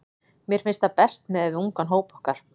Mér finnst það best miðað við ungan hóp okkar.